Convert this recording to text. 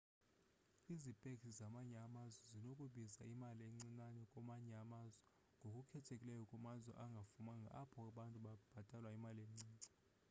izipeksi zamanye amazwe zinokubiza imali encincane kwamanye amazwe ngokukhethekileyo kumazwe angafumanga apho abantu bebhatalwa imali encinci